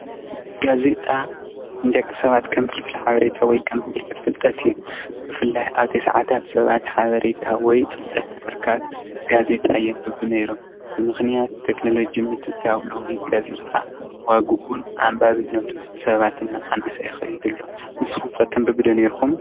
ጋዜጣ ንደቂ ንሰባት ከም ፍልፍል ፍልጠት እዩ ብፍላይ ኣብ 90 ታት ሰባት ሓበሬታ ወይ ፍልጠት ንምርካብ ጋዜጣ የንብቡ ነይሮም ብምክንያት ቴክኖሎጂ ምተእትታው ሎሚ ጋዜጣ ዋግኡን ኣንባብነቱን ሰባት እናቀነሰ ይኸድ ኣሎ። ንስኩም ከ ተንብቡ ዶ ኔርኩም?